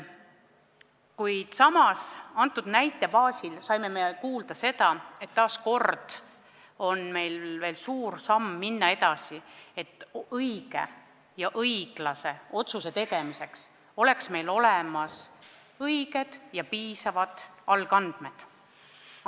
Kuid samas saime selle näite baasil kuulda, et taas kord on meil vaja suur samm edasi minna, et õige ja õiglase otsuse tegemiseks oleksid meil olemas õiged ja piisavad algandmed.